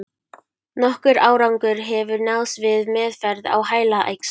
Nokkur árangur hefur náðst við meðferð á heilaæxlum.